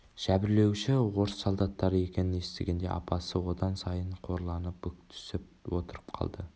жәбірлеуші орыс солдаттары екенін естігенде апасы одан сайын қорланып бүктүсіп отырып қалды